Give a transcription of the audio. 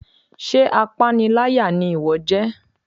sé apáníláyá ni iwọ jẹ?